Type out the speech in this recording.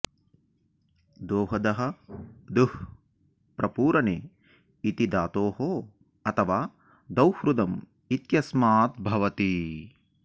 दोहदः दुह् प्रपूरणे इति धातोः अथवा दौर्हृदम् इत्यस्मात् भवति